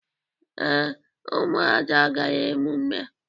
Ee, Umuada gara emume a